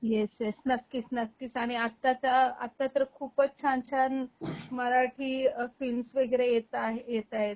Yes, yes नक्कीच नक्कीच आणि आत्ता तर आत्ता तर खूपच छान छान मराठी फिल्म्स वैगरे येता आहेत येताएत.